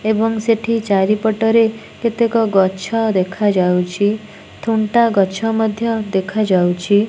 ଏବଂ ସେଠି ଚାରିପଟରେ କେତେକ ଗଛ ଦେଖାଯାଉଚି ଥୁଣ୍ଟା ଗଛ ମଧ୍ୟ ଦେଖାଯାଉଚି ।